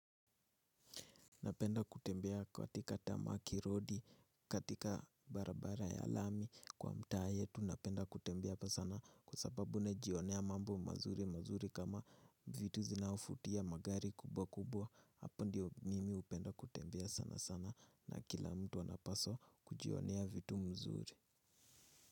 Napenda kutembea katika tamaki rodi, katika barabara ya lami kwa mtaa yetu napenda kutembea pia sana kwa sababu najionea mambo mazuri mazuri kama vitu zinaovutia magari kubwa kubwa hapo ndiyo mimi hupenda kutembea sana sana na kila mtu anapaswa kujionea vitu mzuri.